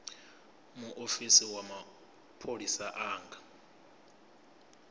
muofisi wa mapholisa a nga